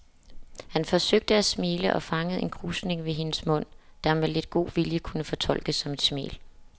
Han forsøgte at smile og fangede en krusning ved hendes mund, der med lidt god vilje kunne fortolkes som et smil.